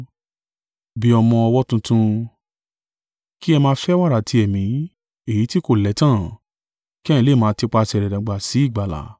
Bí ọmọ ọwọ́ tuntun, kí ẹ máa fẹ́ wàrà ti Ẹ̀mí, èyí tí kò lẹ́tàn, kí ẹ̀yin lè máa tipasẹ̀ rẹ̀ dàgbà sí ìgbàlà,